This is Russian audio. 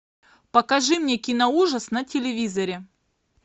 покажи мне киноужас на телевизоре